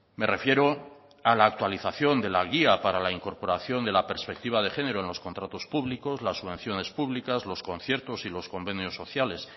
me refiero a la actualización de la guía para la incorporación de la perspectiva de género en los contratos públicos las subvenciones públicas los conciertos y los convenios sociales